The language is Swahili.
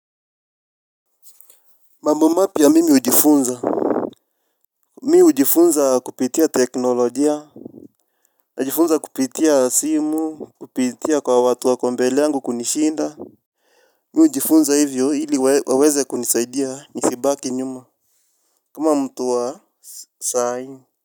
Mambo mapya mimi hujifunza. Mi hujifunza kupitia teknolojia. Najifunza kupitia simu. Kupitia kwa watu wa kombele yangu kunishinda. Mi hujifunza hivyo ili waweze kunisaidia ni sibaki nyuma. Kama mtu wa sai.